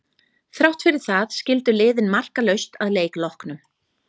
Þrátt fyrir það skildu liðin markalaust að leik loknum.